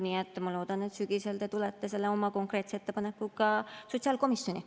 Nii et ma loodan, et sügisel te tulete oma konkreetse ettepanekuga sotsiaalkomisjoni.